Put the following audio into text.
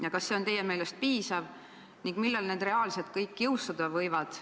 Ja kas see on teie meelest piisav ja millal need reaalselt kõik jõustuda võivad?